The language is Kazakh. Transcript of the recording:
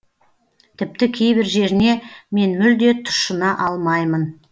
тіпті кейбір жеріне мен мүлде тұщына алмаймын